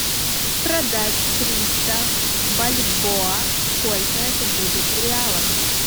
продать триста бальбоа сколько это будет в реалах